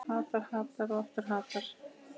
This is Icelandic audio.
Hattar, hattar og aftur hattar.